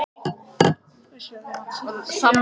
Ég var viss um að myndin væri góð.